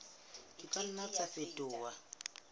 di ka nna tsa fetoha